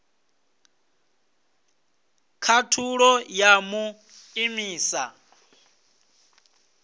khathulo ya u mu imisa